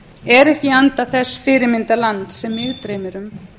er ekki í anda þess fyrirmyndarlands sem mig dreymir um